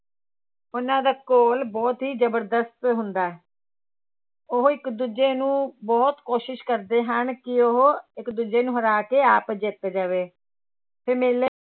ਉਹਨਾਂ ਦਾ ਘੋਲ ਬਹੁਤ ਹੀ ਜ਼ਬਰਦਸਤ ਹੁੰਦਾ ਹੈ ਉਹ ਇੱਕ ਦੂਜੇ ਨੂੰ ਬਹੁਤ ਕੋਸ਼ਿਸ਼ ਕਰਦੇ ਹਨ ਕਿ ਉਹ ਇੱਕ ਦੂਜੇ ਨੂੰ ਹਰਾ ਕੇ ਆਪ ਜਿੱਤ ਜਾਵੇ ਤੇ ਮੇਲੇ